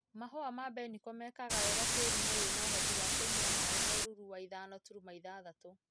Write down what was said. Mahũa ma mbeniko mekaga wega tĩrinĩ wĩna ũhoti wa kũnywa maĩ na ũrũrũ wa ithano turuma ithathatũ.